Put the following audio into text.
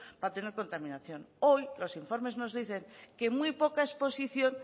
para tener contaminación hoy los informes nos dicen que muy poca exposición